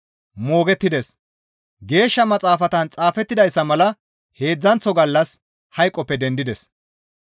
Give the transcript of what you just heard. Moogettides; Geeshsha Maxaafatan xaafettidayssa mala heedzdzanththo gallas hayqoppe dendides.